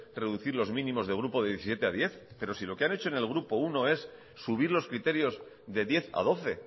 reducir los mínimos de grupo de diecisiete a hamar pero si lo que han hecho en el grupo uno es subir los criterios de diez a doce